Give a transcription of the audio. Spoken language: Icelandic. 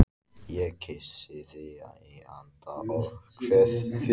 Ég kyssi þig í anda og kveð þig